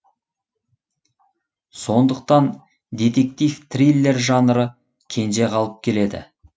сондықтан детектив триллер жанры кенже қалып келеді